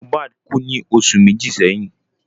Mohbad kú ní oṣù méjì sẹ́yìn